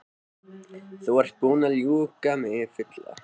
Þú ert búinn að ljúga mig fulla.